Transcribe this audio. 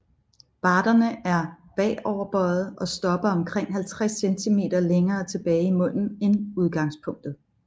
Barderne er bagoverbøjede og stopper omkring 50 cm længere tilbage i munden end udgangspunktet